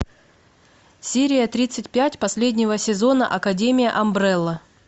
серия тридцать пять последнего сезона академия амбрелла